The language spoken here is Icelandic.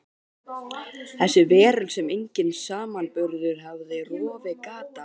Þessi veröld sem enginn samanburður hafði rofið gat á.